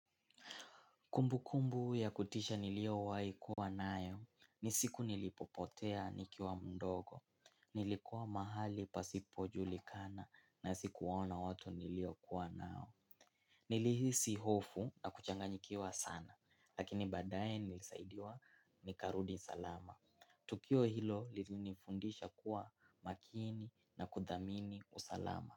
Kumbu kumbu ya kutisha nilio waikuwa nayo, nisiku nilipopotea nikiwa mdogo, nilikua mahali pasipojulikana na sikuwaona watu niliokuwa nao. Nilihisi hofu na kuchanganyikiwa sana, lakini badaye nilisaidiwa nikarudi salama, tukio hilo lilinifundisha kuwa makini na kuthamini usalama.